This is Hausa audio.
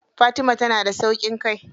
Fatima tana da sauƙin kai.